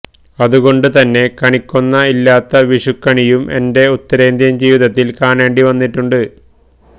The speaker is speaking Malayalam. അതുകൊണ്ടുതന്നെ കണിക്കൊന്ന ഇല്ലാത്ത വിഷുക്കണിയും എന്റെ ഉത്തരേന്ത്യന് ജീവിതത്തില് കാണേണ്ടി വന്നിട്ടുണ്ട്